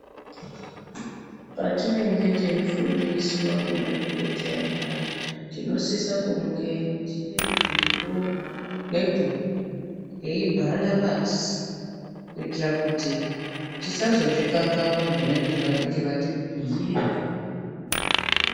Patinenge teyifundiswa ne madhokotheya payani tinosiso kunge tine bhilo ne bhuku teyi bhala pasi kuitira kuti tisazo zvikanganwa zvavanenge vati bhuyira.